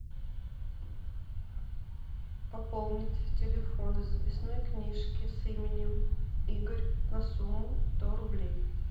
пополнить телефон из записной книжки с именем игорь на сумму сто рублей